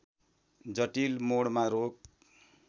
जटिल मोडमा रोक